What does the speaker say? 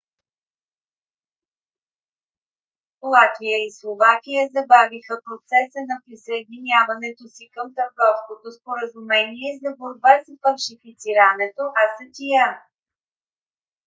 латвия и словакия забавиха процеса на присъединяването си към търговското споразумение за борба с фалшифицирането acta